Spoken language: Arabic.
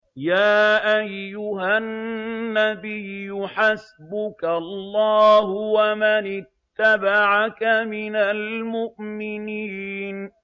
يَا أَيُّهَا النَّبِيُّ حَسْبُكَ اللَّهُ وَمَنِ اتَّبَعَكَ مِنَ الْمُؤْمِنِينَ